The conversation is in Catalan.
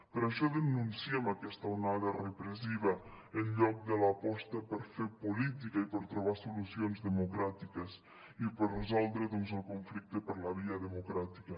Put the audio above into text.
per això denunciem aquesta onada repressiva en lloc de l’aposta per fer política i per trobar solucions democràtiques i per resoldre doncs el conflicte per la via democràtica